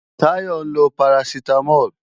Táyọ ń lo parasitamol